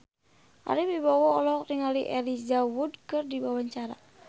Ari Wibowo olohok ningali Elijah Wood keur diwawancara